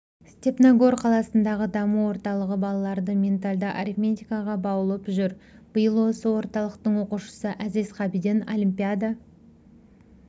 степногор қаласындағы даму орталығы балаларды ментальды арифметикаға баулып жүр биыл осы орталықтың оқушысы әзиз қабиден олимпиада